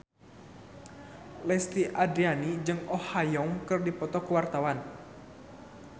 Lesti Andryani jeung Oh Ha Young keur dipoto ku wartawan